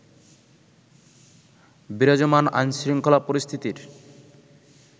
বিরাজমান আইনশৃঙ্খলা পরিস্থিতির